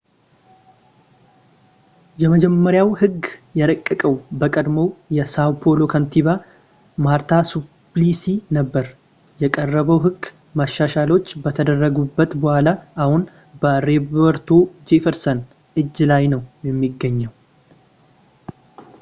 የመጀመሪያው ሕግ የረቀቀው በቀድሞው የsão paulo ከንቲባ marta suplicy ነበር። የቀረበው ሕግ፣ መሻሻሎች ከተደረጉበት በኋላ፣ አሁን በroberto jefferson እጅ ላይ ነው የሚገኘው